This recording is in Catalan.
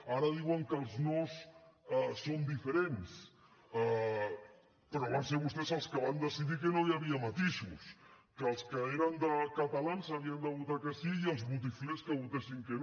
ara diuen que els nos són diferents però van ser vostès els qui van decidir que no hi havia matisos que els que eren catalans havien de votar que sí i els botiflers que votessin que no